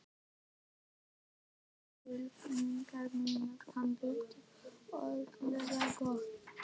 Hann skilur tilfinningar mínar, hann vill öllum gott.